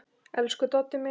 Elsku Doddi minn.